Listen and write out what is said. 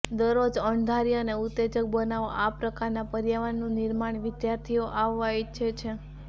દરરોજ અણધારી અને ઉત્તેજક બનાવો આ પ્રકારના પર્યાવરણનું નિર્માણ વિદ્યાર્થીઓ આવવા ઇચ્છે છે